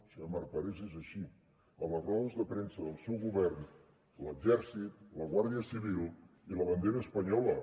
senyor marc parés és així a les rodes de premsa del seu govern l’exèrcit la guàrdia civil i la bandera espanyola